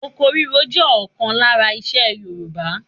Oko ríro jẹ́ ọ̀kan lára isẹ Yorùbá.